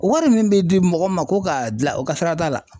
O wɔri min bɛ di mɔgɔ ma ko k'a dila o ka sira t'a la.